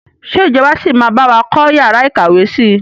Ṣé ìjọba sì máa bawa kọ́ yàrá ìkàwé síí?